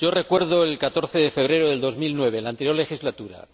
Yo recuerdo el 14 de febrero de 2009, en la anterior legislatura.